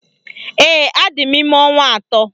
Ee, adị m ime ọnwa atọ